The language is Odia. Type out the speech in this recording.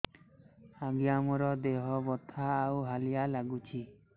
ଆଜ୍ଞା ମୋର ଦେହ ବଥା ଆଉ ହାଲିଆ ଲାଗୁଚି